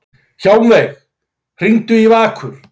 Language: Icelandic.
Hjálmveig, hringdu í Vakur.